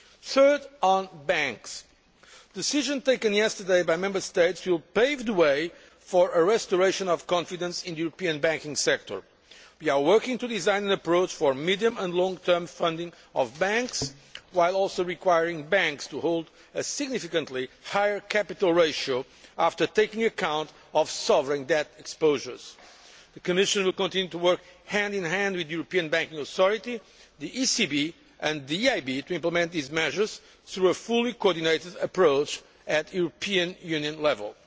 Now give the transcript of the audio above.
Third, on banks the decisions taken yesterday by Member States will pave the way for a restoration of confidence in the European banking sector. We are working to design an approach for medium and long term funding of banks, while also requiring banks to hold a significantly higher capital ratio after taking account of sovereign debt exposures. The Commission will continue to work hand in hand with the European Banking Authority, the ECB and the EIB to implement these measures through a fully coordinated approach at European Union level.